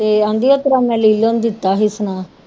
ਤੇ ਕਹਿੰਦੀ ਉਸ ਤਰ੍ਹਾਂ ਮੈਂ ਲੀਲੋ ਨੂੰ ਦਿੱਤਾ ਸੀ ਸੁਨੇਹਾਂ